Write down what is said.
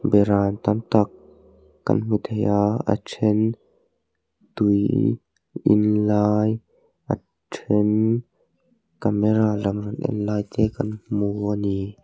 beram tam tak kan hmu thei a a then tui in lai a then camera lam rawn en lai te kan hmu a ni.